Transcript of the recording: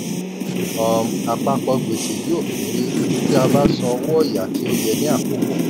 um àpapọ̀ gbèsè yóò kéré ti a bá san owó ọ̀yà tó yẹ ni àkókò.